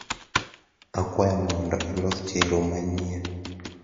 akwayo ni mondo ilos chero manyien